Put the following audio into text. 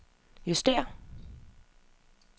justér